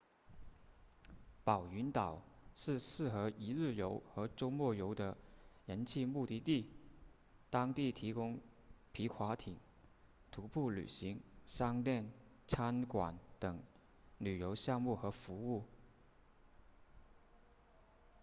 宝云岛是适合一日游或周末游的人气目的地当地提供皮划艇徒步旅行商店餐馆等旅游项目和服务